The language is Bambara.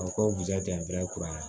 A bɛ koja ten